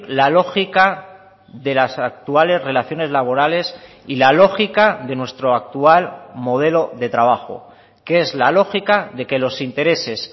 la lógica de las actuales relaciones laborales y la lógica de nuestro actual modelo de trabajo que es la lógica de que los intereses